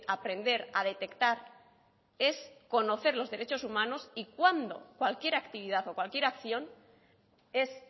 aprender a detectar es conocer los derechos humanos y cuándo cualquier actividad o cualquier acción es